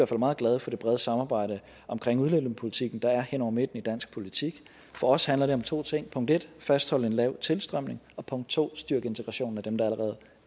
fald meget glade for det brede samarbejde omkring udlændingepolitikken der er hen over midten i dansk politik for os handler det om to ting punkt en at fastholde en lav tilstrømning og punkt to at styrke integrationen